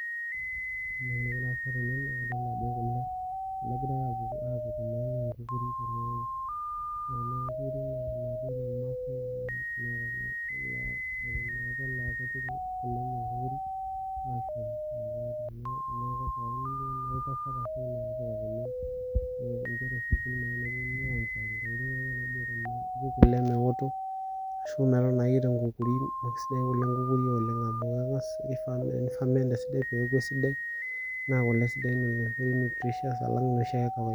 Ore entoki nagira aasa tene naa idol ajo kule egiray aapik enkukuri. Ore ena kukuri naa enoormaasai. Ore imaasai naa kepik kule enye enkukuri aashum metaa keya nepikakini inkera e sukuul, nepiki kule meoto ashu metotona ake tenkukuri. Naa kesidan kule enkukuri oleng' amu kang'as kifaa Ni ferment esidai peeku esidai. Naa kule sidain nutritious alang inoshi ake kawaida.